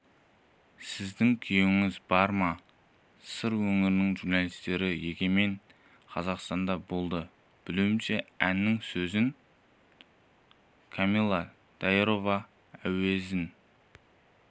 сіздің күйеуіңіз бар ма сыр өңірінің журналистері егемен қазақстанда болды білуімше әннің сөзін камилла даирова әуезін